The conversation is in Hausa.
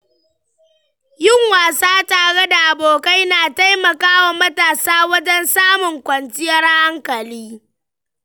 Yin wasa tare da abokai na taimaka wa matasa wajen samun kwanciyar hankali.